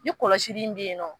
Ni kɔlɔsi in yen ye nɔ